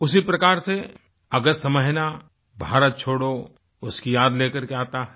उसी प्रकार से अगस्त महीना भारत छोड़ो उसकी याद ले करके आता है